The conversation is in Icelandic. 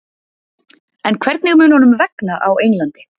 En hvernig mun honum vegna á Englandi?